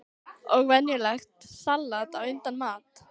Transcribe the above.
Og venjulegt salat á undan mat.